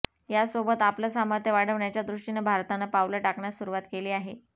यासोबतच आपलं सामर्थ्य वाढवण्याच्या दृष्टीनं भारतानं पावलं टाकण्यास सुरुवात केली आहे